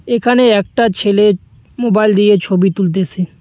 এখানে একটা ছেলে মোবাইল দিয়ে ছবি তুলতেসে।